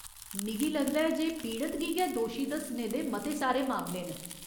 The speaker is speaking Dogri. मिगी लगदा ऐ जे पीड़त गी गै दोशी दस्सने दे मते सारे मामले न।